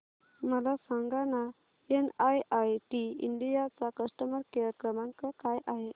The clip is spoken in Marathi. मला सांगाना एनआयआयटी इंडिया चा कस्टमर केअर क्रमांक काय आहे